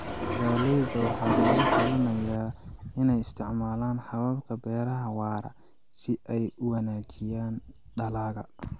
Beeraleyda waxaa lagu talinayaa inay isticmaalaan hababka beeraha waara si ay u wanaajiyaan dalagga.